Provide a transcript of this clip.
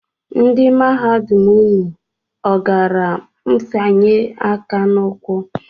Ndị mahadum unu ọ gara mfanye aka n'ụkwụ?